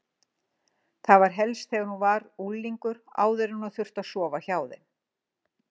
Það var helst þegar hún var unglingur, áður en hún þurfti að sofa hjá þeim.